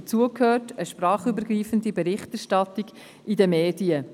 Dazu gehört eine sprachübergreifende Berichterstattung in den Medien.